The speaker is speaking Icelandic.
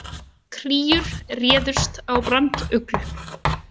Kríur réðust á branduglu